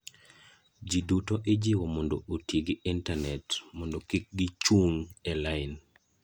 Ji duto ijiwo mondo oti gi intanet mondo kik gichung' e lain.